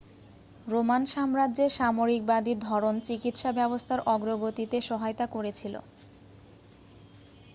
Roman সাম্রাজ্যের সামরিকবাদী ধরণ চিকিৎসা ব্যবস্থার অগ্রগতিতে সহায়তা করেছিল